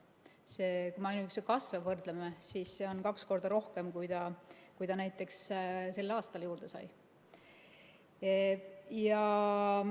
Kui me ainuüksi kasve võrdleme, siis seda on kaks korda rohkem, kui seal näiteks sel aastal juurde saadi.